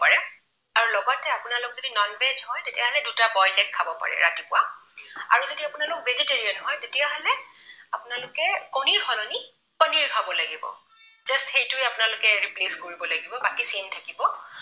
আপোনালোক যদি non veg হয় তেতিয়াহলে দুটা boiled egg খাব পাৰে, ৰাতিপুৱা। আৰু যদি আপোনালোক vegetarian হয় তেতিয়াহলে আপোনালোকে কণীৰ সলনি পনীৰ খাব লাগিব। just সেইটোৱেই আপোনালোকে replace কৰিব লাগিব, বাকী same থাকিব।